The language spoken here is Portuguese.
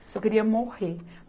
Eu só queria morrer.